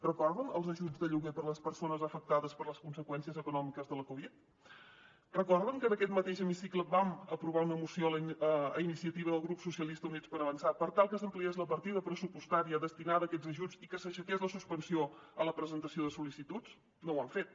recorden els ajuts de lloguer per a les persones afectades per les conseqüències econòmiques de la covid recorden que en aquest mateix hemicicle vam aprovar una moció a iniciativa del grup socialista units per avançar per tal que s’ampliés la partida pressupostària destinada a aquests ajuts i que s’aixequés la suspensió a la presentació de sol·licituds no ho han fet